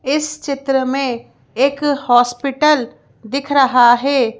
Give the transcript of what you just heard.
इस चित्र में एक हॉस्पिटल दिख रहा है।